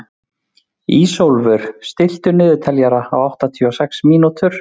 Ísólfur, stilltu niðurteljara á áttatíu og sex mínútur.